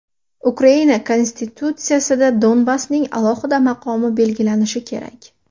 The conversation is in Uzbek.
Ukraina Konstitutsiyasida Donbassning alohida maqomi belgilanishi kerak.